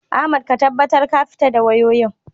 Ahmad ka tabbatar ka fito da wayoyin.